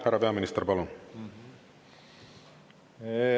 Härra peaminister, palun!